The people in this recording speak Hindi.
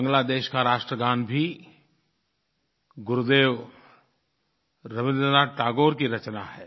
बांग्लादेश का राष्ट्रगान भी गुरुदेव रवीन्द्रनाथ टैगोर की रचना है